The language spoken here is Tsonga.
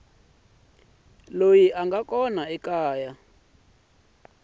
loyi a nga kona eka